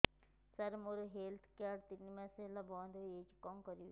ସାର ମୋର health card ତିନି ମାସ ହେଲା ବନ୍ଦ ହେଇଯାଇଛି କଣ କରିବି